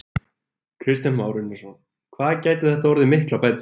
Kristján Már Unnarsson: Hvað gætu þetta orðið miklar bætur?